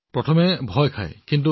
আৰম্ভণিতে ভয় খায় নহয় জানো